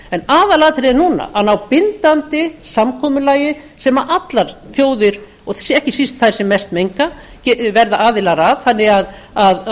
en aðalatriðið núna að ná bindandi samkomulagi sem allar þjóðir og ekki síst þær sem mest menga verða aðilar að og